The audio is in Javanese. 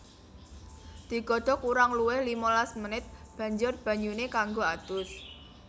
Digodhog kurang luwih limalas menit banjur banyuné kanggo adus